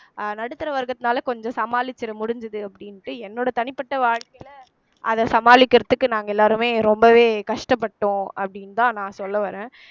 அஹ் நடுத்தர வர்க்கத்தினால கொஞ்சம் சமாளிச்சிற முடிஞ்சுது அப்படின்னுட்டு என்னோட தனிப்பட்ட வாழ்க்கையில அத சமாளிக்கறதுக்கு நாங்க எல்லாருமே ரொம்பவே கஷ்டப்பட்டோம் அப்படின்னுதான் நான் சொல்ல வர்றேன்